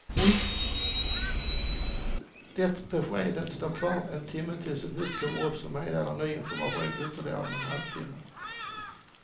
Det beskedet står kvar en timme tills ett nytt kommer upp som meddelar ny information om ytterligare en halv timme.